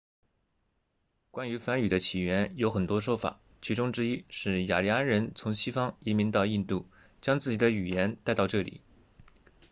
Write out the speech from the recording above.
关于梵语的起源有很多说法其中之一是雅利安人从西方移民到印度将自己的语言带到这里